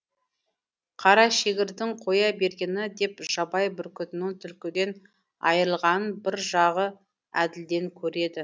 қарашегірдің қоя бергені деп жабай бүркітінің түлкіден айрылғанын бір жағы әділден көреді